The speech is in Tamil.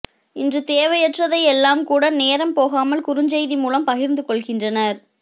இன்று தேவையற்றதை எல்லாம் கூட நேரம் போகாமல் குறுஞ்செய்தி மூலம் பகிர்ந்து கொள்கின்றனர்